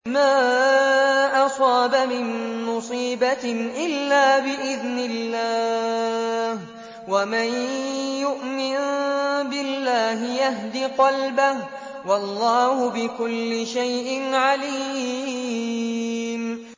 مَا أَصَابَ مِن مُّصِيبَةٍ إِلَّا بِإِذْنِ اللَّهِ ۗ وَمَن يُؤْمِن بِاللَّهِ يَهْدِ قَلْبَهُ ۚ وَاللَّهُ بِكُلِّ شَيْءٍ عَلِيمٌ